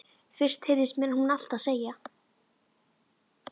Fyrst heyrðist mér hún alltaf segja